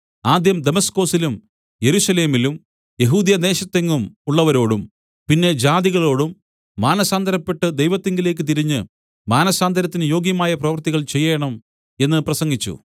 ആദ്യം ദമസ്കൊസിലും യെരൂശലേമിലും യെഹൂദ്യദേശത്തെങ്ങും ഉള്ളവരോടും പിന്നെ ജാതികളോടും മാനസാന്തരപ്പെട്ട് ദൈവത്തിങ്കലേക്ക് തിരിഞ്ഞ് മാനസാന്തരത്തിന് യോഗ്യമായ പ്രവൃത്തികൾ ചെയ്യേണം എന്ന് പ്രസംഗിച്ചു